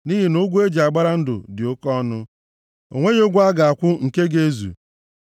nʼihi na ụgwọ e ji agbara ndụ dị oke ọnụ, o nweghị ụgwọ a ga-akwụ nke ga-ezu, + 49:8 \+xt Mat 16:26\+xt*